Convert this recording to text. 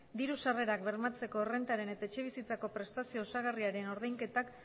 diru sarrerak bermatzeko errentaren eta etxebizitzako prestazio osagarriaren ordainketak